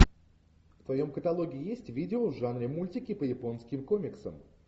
в твоем каталоге есть видео в жанре мультики по японским комиксам